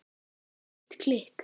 Mitt klikk?